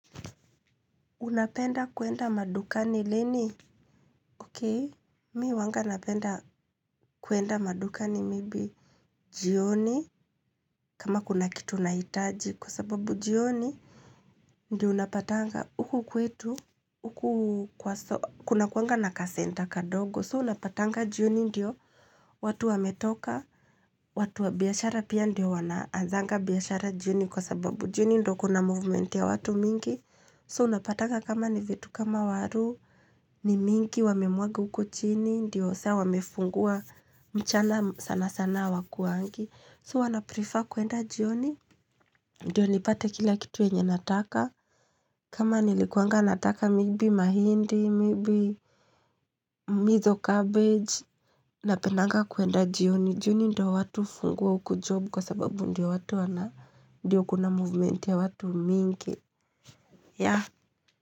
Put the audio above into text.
Unapenda kuenda madukani leni? Ok. Mimi huwanga napenda kuenda madukani maybe jioni. Kama kuna kitu nahitaji, kwa sababu jioni. Ndiyo unapatanga, huku kwetu, huku kunakuanga na kacentre kadogo. So unapatanga jioni ndiyo. Watu wametoka. Watu wa biashara pia ndio wanaazanga biashara jioni. Kwa sababu jioni ndo kuna movement ya watu mingi. So unapatanga kama ni vitu kama waru. Ni mingi wamemwaga uko chini, ndio saa wamefungua mchana sana sana hawakuangi. So huwa naprefer kuenda jioni, ndio nipate kila kitu yenye nataka. Kama nilikuanga nataka maybe mahindi, maybe mitho cabbage. Napendanga kuenda jioni, jioni ndio watu hufungua huku job kwa sababu ndio watu wana, ndio kuna movement ya watu mingi. Yeah.